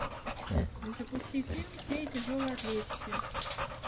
запусти фильм феи тяжелой атлетики